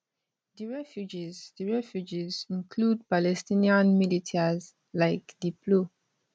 di refugees di refugees include palestinian militias like di plo